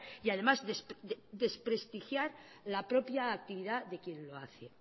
y además desprestigiar la propia actividad de quien lo hace